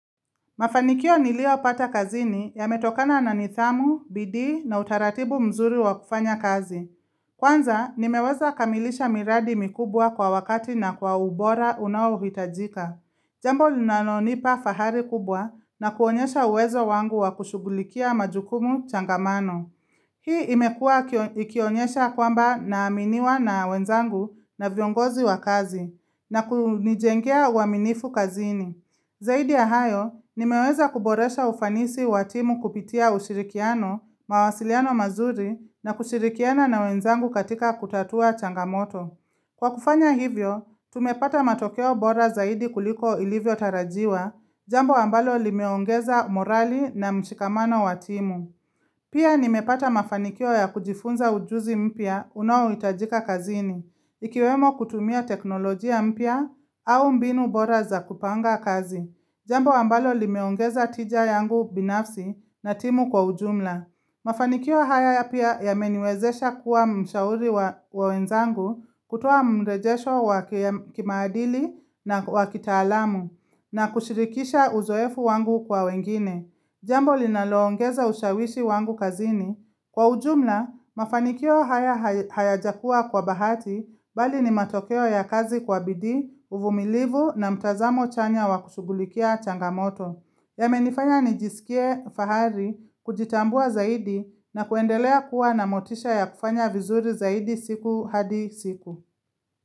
Mafanikio nilio pata kazini yametokana na nidhamu, bidi na utaratibu mzuri wa kufanya kazi. Kwanza, nimeweza kamilisha miradi mikubwa kwa wakati na kwa ubora unawo hitajika. Jambo linalonipa fahari kubwa na kuonyesha uwezo wangu wa kushugulikia majukumu changamano. Hii imekua ikionyesha kwamba na aminiwa na wenzangu na viongozi wa kazi na kunijengea uwaminifu kazini. Zaidi ya hayo, nimeweza kuboresha ufanisi watimu kupitia ushirikiano, mawasiliano mazuri na kushirikiana na wenzangu katika kutatua changamoto. Kwa kufanya hivyo, tumepata matokeo bora zaidi kuliko ilivyo tarajiwa, jambo ambalo limeongeza morali na mshikamano watimu. Pia nimepata mafanikio ya kujifunza ujuzi mpia unawitajika kazini, ikiwemo kutumia teknolojia mpya au mbinu bora za kupanga kazi. Jambo ambalo limeongeza tija yangu binafsi na timu kwa ujumla. Mafanikio haya pia ya meniwezesha kuwa mshauri wa wenzangu kutoa mrejesho wa kimadili na wa kitaalamu na kushirikisha uzoefu wangu kwa wengine. Jambo linaloongeza ushawishi wangu kazini. Kwa ujumla, mafanikio haya haya jakua kwa bahati bali ni matokeo ya kazi kwa bidi, uvumilivu na mtazamo chanya wakushugulikia changamoto. Yame nifanya ni jisikie fahari kujitambua zaidi na kuendelea kuwa na motisha ya kufanya vizuri zaidi siku hadi siku.